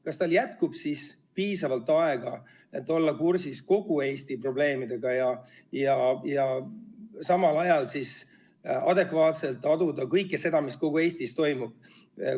Kas tal jätkub piisavalt aega, et olla kursis Kihnu probleemidega ja samal ajal adekvaatselt aduda kõike seda, mis kogu Eestis toimub?